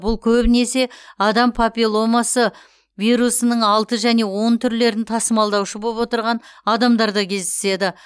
бұл көбінесе адам папилломасы вирусының алты және он түрлерін тасымалдаушы боп отырған адамдарда кездеседі